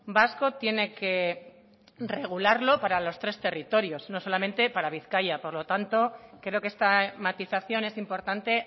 vasco tiene que regularlo para los tres territorios no solamente para bizkaia por lo tanto creo que esta matización es importante